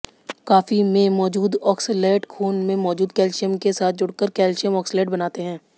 coffee में मौजूद oxalate खून में मौजूद कैल्शियम के साथ जुड़कर कैल्शियम ऑक्सलेट बनाते हैं